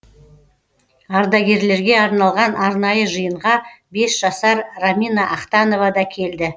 ардагерлерге арналған арнайы жиынға бес жасар рамина ахтанова да келді